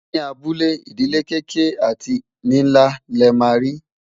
ní abúlé, ìdílé kéké àti nínlá lè má ri